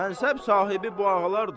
Mənsəb sahibi bu ağalardır.